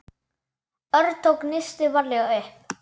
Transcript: Örn tók nistið varlega upp.